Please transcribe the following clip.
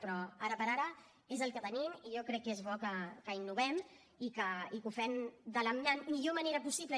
però ara per ara és el que tenim i jo crec que és bo que innovem i que ho fem de la millor manera possible